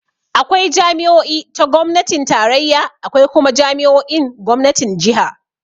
Akwai jami'o'i ta gomnatin tarayya, akwai kuma jami'o'in gomnatin jiha.